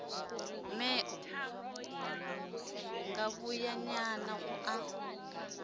mee ṅo ngavhuyanyana u a